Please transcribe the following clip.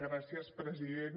gràcies president